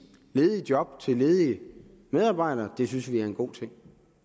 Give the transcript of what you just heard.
ledige job til ledige medarbejdere det synes vi er en god ting